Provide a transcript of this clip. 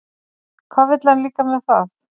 Hvað vill hann líka með það?